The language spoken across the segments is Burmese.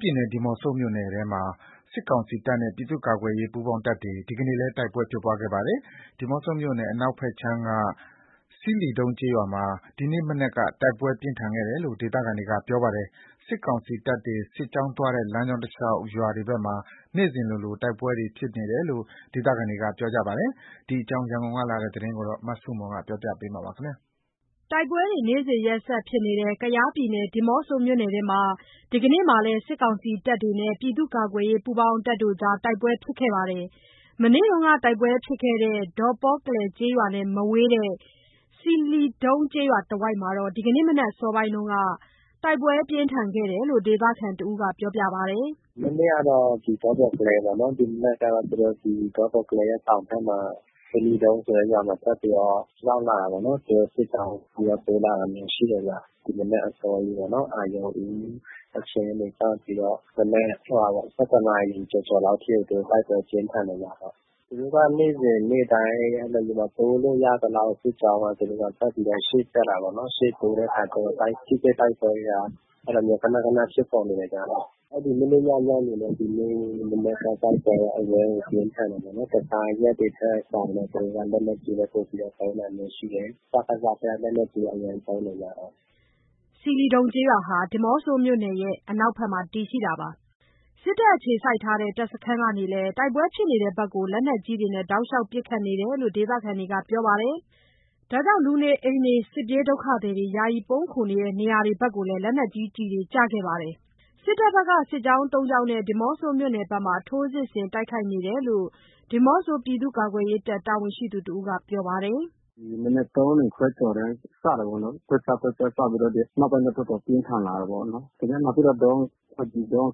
ပြည်နယ် ဒီးမော့ဆိုမြို့နယ်ထဲမှာ စစ်ကောင်စီတပ်နဲ့ ပြည်သူ့ကာကွယ်ရေး ပူးပေါင်းတပ်တွေ ဒီနေ့ လည်း တိုက်ပွဲဖြစ်ခဲ့ပါ တယ်။ ဒီးမော့ဆိုမြို့နယ် အနောက် ဘက်ခြမ်းက ဆီးလီဒုံးကျေးရွာမှာ ဒီနေ့မနက်က တိုက်ပွဲပြင်းထန်ခဲ့တယ်လို့ ဒေသခံတွေက ပြောပါတယ်။ စစ်ကောင်စီတပ်တွေ စစ်ကြောင်းသွားတဲ့ လမ်းကြောင်းတလျှောက် ရွာတွေဘက်မှာ နေ့စဉ်လိုလို တိုက်ပွဲတွေ ဖြစ်နေတယ်လို့ ဒေသခံတွေက ပြောပါတယ်။ ဒီအကြောင်း ရန်ကုန်ကလာတဲ့သတင်းကို မဆုမွန်က တင်ပြပေးထားပါတယ်။ တိုက်ပွဲတွေ နေ့စဉ်ရက်ဆက်ဖြစ်နေတဲ့ ဒီးမော့ဆိုမြို့နယ်ထဲမှာ ဒီနေ့လည်း စစ်ကောင်စီတပ်တွေနဲ့ ပြည်သူ့ ကာကွယ်ရေး ပူးပေါင်းတပ်တွေကြား တိုက်ပွဲဖြစ်ခဲ့ပါတယ်။ မနေ့က တိုက်ပွဲဖြစ်ခဲ့တဲ့ ဒေါပေါ်ကလဲကျေးရွာနဲ့ မဝေးတဲ့ ဆီးလီဒုံးကျေးရွာတဝိုက်မှာ ဒီနေ့ မနက်အစောပိုင်းက တိုက်ပွဲပြင်းထန်ခဲ့တယ်လို့ ဒေသခံတဦးက ပြောပါတယ်။ “မနေ့ကတော့ ဒီဒေါပေါ်ကလဲပေါ့နော်။ ဒီမနက်ကတော့ ဒီဒေါပေါ်ကလဲရဲ့ တောင်ဘက်မှာ ဆီးလီဒုံးဆိုတဲ့ ရွာမှာ ထပ်ပြီး တော့ ရောက်လာတယ်ပေါ့နော်။ သူတို့ စစ်ကြောင်းတိုးလာတာမျိုး ရှိတယ်ဗျ။ ဒီမနက်အစောကြီးပေါ့နော်-အာရုံဦးအချိန်ကနေ စပြီးတော့ မနက် ၁၁ နာရီကျော်ကျော်လောက်ထိကို သူတို့ တိုက်ပွဲပြင်းထန် တယ်ဗျ။ နေ့စဉ်နေ့တိုင်း တိုးလို့ရသလောက် စစ်ကြောင်းက သူတို့က ထပ်ပြီးရှေ့တက်တာပေါ့နော်။ ရှေ့တိုးတဲ့အခါကျတော့ ထိတွေ့တိုက်ပွဲက အဲ့လိုမျိုး ခဏခဏ ဖြစ်ပေါ်နေတယ်ဗျ။ အဲ့ဒီမနေ့ည ညနေနဲ့ဒီမနက် တိုက် ပွဲက အရမ်းကို ပြင်းထန်တယ်ပေါ့နော်။ တခြားရက်တွေထက်စာရင် သူတို့က လက်နက်ကြီးတွေ ပိုပြီးတော့ သုံးတာမျိုးရှိတယ်။ စကစဘက်က လက်နက်ကြီးအရမ်းသုံးတယ်ဗျ။” ဆီးလီဒုံးကျေးရွာဟာ ဒီးမော့ဆိုမြို့နယ်ရဲ့ အနောက်ဘက်မှာ တည်ရှိပါတယ်။ စစ်တပ်အခြေစိုက်ထားတဲ့ တပ်စခန်းကနေလည်း တိုက်ပွဲဖြစ်တဲ့ဘက် လက်နက်ကြီးတွေနဲ့ တောက်လျှောက်ပစ်ခတ်တယ်လို့ ဒေသခံတွေက ပြောပါတယ်။ လူနေအိမ်တွေ၊ စစ်ပြေး ဒုက္ခသည်တွေ ယာယီပုန်းခိုနေတဲ့ နေရာတွေဘက်လည်း လက်နက် ကြီးကျည်တွေ ကျခဲ့ပါတယ်။ စစ်တပ်ဘက်က စစ်ကြောင်း ၃ ကြောင်းနဲ့ ဒီးမော့ဆိုမြို့နယ်ဘက်မှာ ထိုးစစ်ဆင် တိုက်ခိုက်နေတယ်လို့ ဒီးမော့ဆို ပြည်သူ့ကာကွယ်ရေးတပ် တာဝန်ရှိသူတဦးက ပြောပါတယ်။ “ဒီမနက် ၃ နာရီခွဲကျော်တည်းက စတာပေါ့နော်။ ကွက်ကျားကွက်ကျားစပြီးတော့ နောက်ပိုင်းတော့ တော်တော် ပြင်းထန် လာတယ်ပေါ့နော်။ နောက်ပြီးတော့ ဒေါငံ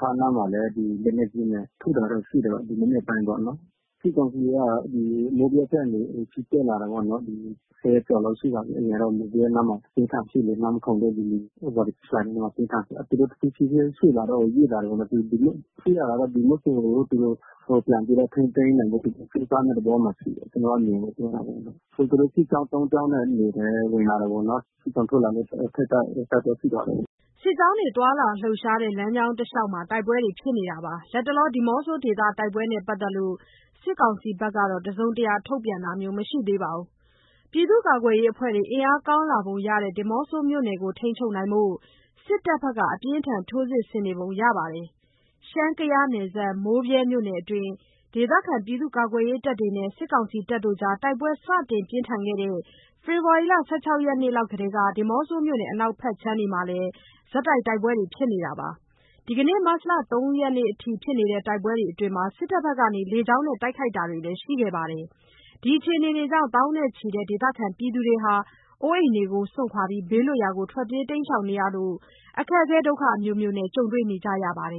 ခါအနားမှာလည်း ဒီလက်နက်ကြီးနဲ့ ထုတာတော့ရှိတယ်၊ ဒီမနက်ပိုင်းပေါ့နော်။ စစ်ကောင်စီက မိုးဗြဲဘက်ကနေ ချီတက်လာတယ်ပေါ့နော်။ ဒီ ၁၀ ရက်ကျော်လောက်ရှိပါပြီ။ အရင်တော့ မိုးဗြဲနားမှာ အပြင်းအထန်ဖြစ်နေတယ်။ နန်မယ်ခုံနဲ့ ဝါရီဆူးဖလိုင်နားမှာ ပြင်းထန်တယ်။ သူတို့ဖြည်းဖြည်းချင်းရွေ့လာတော့ ရွေ့လာတယ်လို့ မသိဘူး။ ကြည့်ရတာတော့ ဒီးမော့ဆိုကို သူတို့ပြန်ပြီးတော့ ထိန်းသိမ်းနိုင်ဖို့ ကြိုးစားမယ့်သဘောမှာ ရှိတယ်။ ကျနော့်အမြင်ကိုပြောတာပေါ့နော်။ သူတို့ စစ်ကြောင်း သုံးကြောင်းနဲ့ ဒီထဲ ဝင်လာတယ်ပေါ့နော်။ စစ်ကြောင်းထိုးလာလို့ အဲ့ဘက်က တိုက်ပွဲဖြစ်သွားတယ်။” စစ်ကြောင်းတွေ သွားလာလှုပ်ရှားတဲ့ လမ်းကြောင်းတလျှောက်မှာ တိုက်ပွဲတွေဖြစ်နေတာပါ။ လတ်တလော ဒီးမော့ဆိုဒေသ တိုက်ပွဲနဲ့ပတ်သက်လို့ စစ်ကောင်စီဘက်ကတော့ တစုံတရာထုတ်ပြန်တာမျိုး မရှိသေးပါဘူး။ ပြည်သူ့ကာကွယ်ရေးအဖွဲ့တွေ အင်အားကောင်းလာပုံရတဲ့ ဒီးမော့ဆိုမြို့နယ်ကို ထိန်းချုပ်နိုင်ဖို့ စစ်ထပ်ဘက်က အပြင်းအထန် ထိုးစစ်ဆင်နေပုံရပါတယ်။ ရှမ်း-ကယားနယ်စပ် မိုးဗြဲမြို့နယ်အတွင်း ဒေသခံပြည်သူ့ကာကွယ်ရေးတပ်တွေနဲ့ စစ်ကောင်စီအကြား တိုက်ပွဲ စတင်ပြင်းထန်ခဲ့တဲ့ ဖေဖော်ဝါရီလ ၁၆ ရက်နေ့လောက်ကတည်းက ဒီးမော့ဆိုမြို့နယ် အနောက်ဘက်ခြမ်းတွေမှာလည်း တိုက်ပွဲတွေ ဆက်တိုက် ဖြစ်နေတာပါ။ ဒီနေ့ မတ်လ ၃ ရက်နေ့အထိ ဖြစ်နေတဲ့ တိုက်ပွဲတွေအတွင်း စစ်တပ်ဘက်က လေကြောင်းနဲ့ တိုက်ခိုက်တာတွေလည်း ရှိခဲ့ပါတယ်။ ဒီအခြေအနေတွေကြောင့် သောင်းနဲ့ချီတဲ့ဒေသခံတွေ အိုးပစ်အိမ်စွန့်ပြီး ဘေးလွတ်ရာကို ထွက်ပြေး တိမ်းရှောင်နေရလို့ အခက်အခဲအမျိုးမျိုးနဲ့ ကြုံတွေ့နေကြရပါတယ်